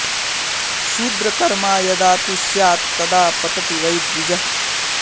शूद्र कर्मा यदा तु स्यात्तदा पतति वै द्विजः